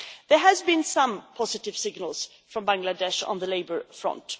There have been some positive signals from Bangladesh on the labour front.